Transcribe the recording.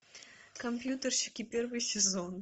компьютерщики первый сезон